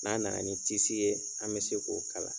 N'a na na ni tisi ye an bɛ se k'o kala.